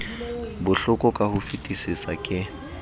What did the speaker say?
bohloko ka ho fetisisa ke